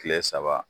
Kile saba